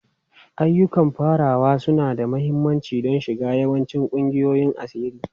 Ayyukan farawa suna da mahimmanci don shiga yawancin ƙungiyoyin asiri.